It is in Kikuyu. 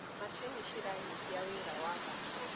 macinĩ ciranyihia wira wa moko